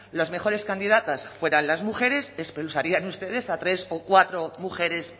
las mejores candidatas fueran las mujeres expulsarían ustedes a tres o cuatro mujeres